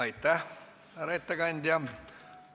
Aitäh, härra ettekandja!